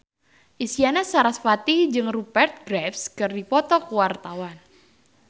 Isyana Sarasvati jeung Rupert Graves keur dipoto ku wartawan